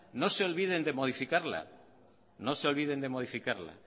no se olviden de modificarla